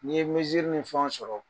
N ye ni fɛnw sɔrɔ.